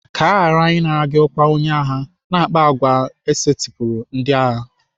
Ka aghara ịnara gị ọkwa onye agha, na-akpa àgwà e setịpụrụ ndị agha.